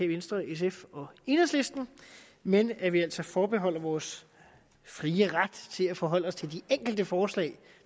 venstre sf og enhedslisten men at vi altså forbeholder os vores frie ret til at forholde os til de enkelte forslag